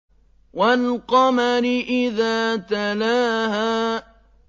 وَالْقَمَرِ إِذَا تَلَاهَا